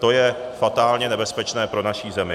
To je fatálně nebezpečné pro naši zemi.